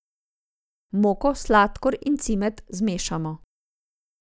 Moko, sladkor in cimet zmešamo.